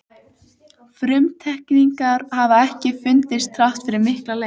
Frumteikningar hafa ekki fundist þrátt fyrir mikla leit.